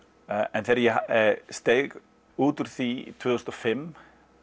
en þegar ég steig út úr því tvö þúsund og fimm